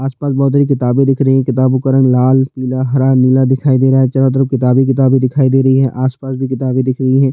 आसपास बहोत सारी किताबे दिख रही है किताबो का रंग लाल नीला हरा नीला दिखाई दे रहा है चारो तरफ किताबे हि किताबे दिखाई दे रहै है आसपास भी किताबी ही दिख रही है।